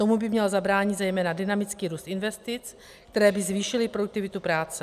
Tomu by měl zabránit zejména dynamický růst investic, které by zvýšily produktivitu práce.